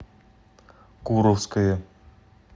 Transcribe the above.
куровское